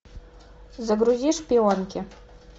загрузи шпионки